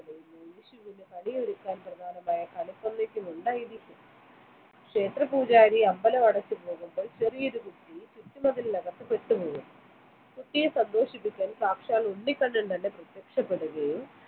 വിഷുവിന് കണിയൊരുക്കാൻ പ്രധാനമായ കണിക്കൊന്ന ഉണ്ടായിരിക്കുന്ന ക്ഷേത്ര പൂജാരി അമ്പലമടച്ചു പോകുമ്പോൾ ചെറിയൊരു കുട്ടി ചുറ്റും മതിലിന് അകത്തു പെട്ടുപോയി കുട്ടിയെ സന്തോഷിപ്പിക്കാൻ സാക്ഷാൽ ഉണ്ണികണ്ണൻ തന്നെ പ്രത്യക്ഷപ്പെടുകയും